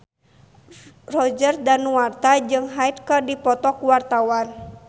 Roger Danuarta jeung Hyde keur dipoto ku wartawan